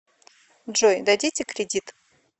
джой дадите кредит